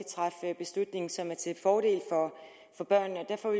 træffe beslutninger som er til fordel for børnene derfor